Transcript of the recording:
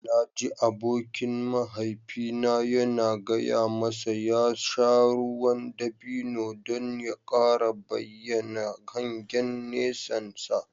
Na ji abokin mahaifina yana gaya masa ya sha ruwan dabino don ya kara bayyana hangen nesansa.